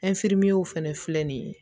fɛnɛ filɛ nin ye